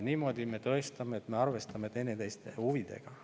Niimoodi me tõestame, et me arvestame teineteise huvidega.